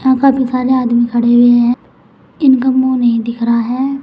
यहां काफी सारे आदमी खड़े हुए हैं इनका मुंह नहीं दिख रहा है।